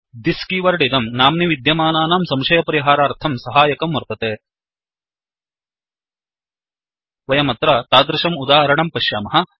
this keyword इदं नाम्नि विद्यमानानां संशयपरिहारार्थं सहायकः वर्तते वयमत्र तादृशम् उदाहरणं पश्यामः